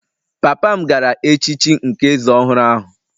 Papa m gara echichi nke eze ọhụrụ ahụ